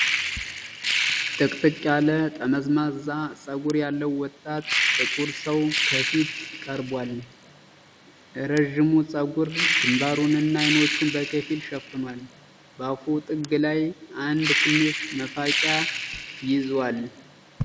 ጥቅጥቅ ያለ ጠመዝማዛ ፀጉር ያለው ወጣት ጥቁር ሰው ከፊት ቀርቧል። ረዥሙ ፀጉር ግንባሩንና አይኖቹን በከፊል ሸፍኗል። በአፉ ጥግ ላይ አንድ ትንሽ መፋቂያ ይዟል።